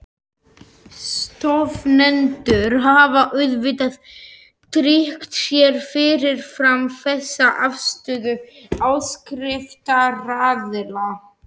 Stofnendur hafa auðvitað tryggt sér fyrirfram þessa afstöðu áskriftaraðila.